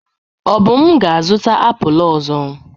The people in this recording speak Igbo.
Obum ga-azụta apụl ọzọ.